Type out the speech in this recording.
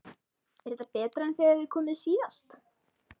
Er þetta betra en þegar þið komuð síðast?